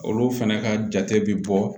Olu fɛnɛ ka jate bi bɔ